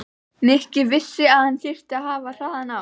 Nikki vissi að hann þyrfti að hafa hraðann á.